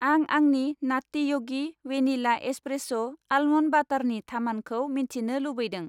आं आंनि नात्ति य'गि वेनिला एसप्रेस' आलमन्ड बाटारनि थामानखौ मिथिनो लुबैदों